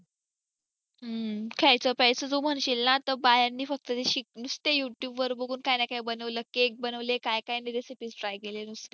खायचं प्यायचं जो म्हणशील ना बायांनी फक्त जशी नुसतं youtube वर बघून काय न काय बनवलं केक बनवले काय काय नाय recipes try केले नुसते